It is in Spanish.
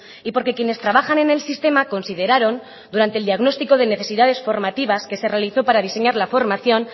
y porque quienes trabajan en el sistema consideraron durante el diagnóstico de necesidades formativas que se realizó para diseñar la formación